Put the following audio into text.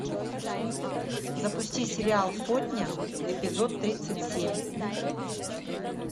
запусти сериал сотня эпизод тридцать семь